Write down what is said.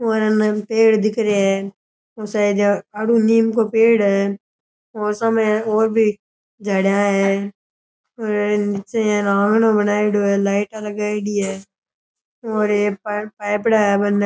और इनने पेड़ दिखे रे है और आगे निम को पेड़ है मौसम है और भी झाड़ियां है और निचे बनाइडो है लाइटाँ लगाइडी है और पाइप --